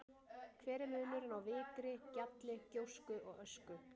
Hver er munurinn á vikri, gjalli, gjósku og ösku?